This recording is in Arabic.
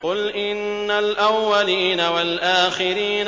قُلْ إِنَّ الْأَوَّلِينَ وَالْآخِرِينَ